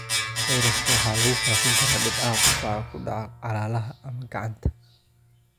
Fayraska waxaa lagu faafi karaa dhibcaha qufaca oo ku dhaca calaacalaha ama gacanta.